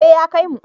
Ee ya kaimu.